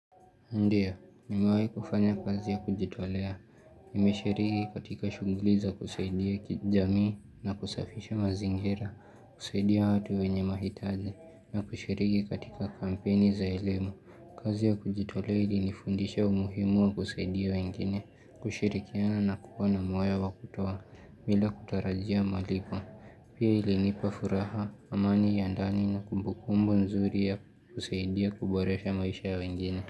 Ndiyo, nimewai kufanya kazi ya kujitolea. Nimeshiriki katika shuguliza za kusaidia kijamii na kusafisha mazingira, kusaidia watu wenye mahitaji, na kushiriki katika kampeni za elimu. Kazi ya kujitolea ilinifundisha umuhimu wa kusaidia wengine, kushirikiana na kuwa na moyo wa kutoa, bila kutarajia malipo. Pia ilinipa furaha, amani ya ndani na kumbukumbu nzuri ya kusaidia kuboresha maisha ya wengine.